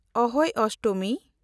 ᱟᱦᱳᱭ ᱚᱥᱴᱚᱢᱤ